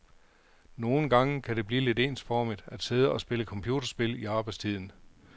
Nogen gange kan det blive lidt ensformigt at sidde og spille computerspil i arbejdstiden.